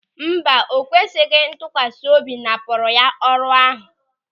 Mba, ekwesịghị ntụkwasị obi napụrụ ya ọrụ ahụ.